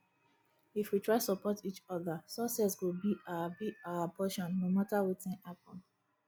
if we try support each other success go be our be our portion no matter wetin happen